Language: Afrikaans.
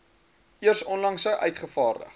eers onlangs uitgevaardig